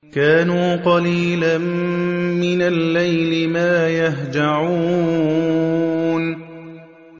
كَانُوا قَلِيلًا مِّنَ اللَّيْلِ مَا يَهْجَعُونَ